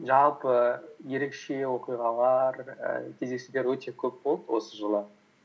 жылпы ерекше оқиғалар і кездесулер өте көп болды осы жылы